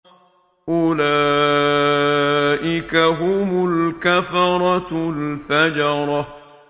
أُولَٰئِكَ هُمُ الْكَفَرَةُ الْفَجَرَةُ